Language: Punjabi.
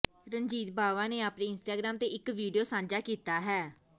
ਰਣਜੀਤ ਬਾਵਾ ਨੇ ਆਪਣੇ ਇੰਸਟਾਗ੍ਰਾਮ ਤੇ ਇੱਕ ਵੀਡੀਓ ਸਾਂਝਾ ਕੀਤਾ ਹੈ